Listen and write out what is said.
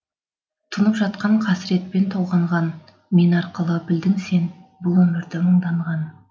тұнып жатқан қасіретпен толғанған мен арқылы білдің сен бұл өмірді мұңданған